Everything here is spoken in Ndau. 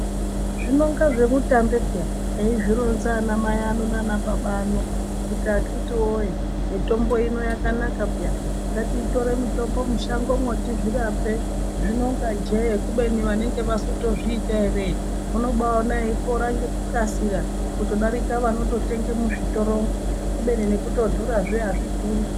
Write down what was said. Zvinonga zvemutambe peya eizvironza ana mai ano nana baba ano kuti akiti woye mitombo ini yakanaka peya ngatitore mutombo mushangomwo tizvirape zvinonga jee kubeni vanenge vazotozviita ere unobaona eipora ngekukasira kutodarika vanotenge muzvitoromwo kubeni nekutodhura azvidhuri